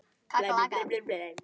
Hjördís: Er þér kalt?